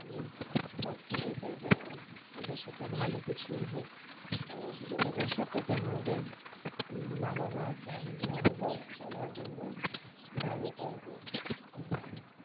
আমিও চাই যে, ওদের সাথে ভালো কিছুই হোক তো শুধু ওদের সাথেই কেন ওদের বাবা-মা, family অথবা সবার জন্যই ভালো চাইবো। আর